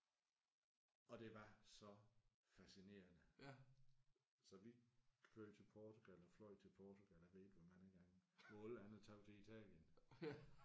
Og det var så fascinerende så vi kørte til Portugal og fløj til Portugal jeg ved ikke hvor mange gange hvor alle andre tog til Italien